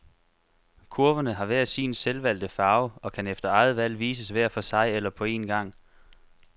Kurverne har hver sin selvvalgte farve, og kan efter eget valg vises hver for sig eller på en gang.